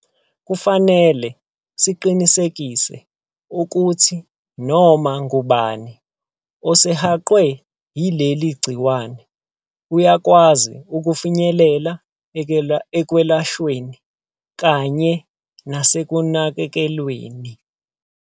Kufanele siqinisekise ukuthi noma ngubani osehaqwe yileli gciwane uyakwazi ukufinyelela ekwelashweni kanye nasekunakekelweni.